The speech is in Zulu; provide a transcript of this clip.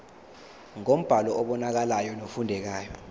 ngombhalo obonakalayo nofundekayo